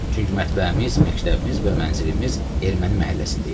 Çünki mətbəhimiz, məktəbimiz və mənzilimiz erməni məhəlləsində idi.